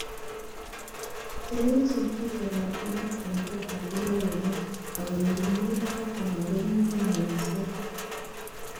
Telelchin itondaab maat en gotab ingokenik, angot ko mi barak anan komi ngwony missing.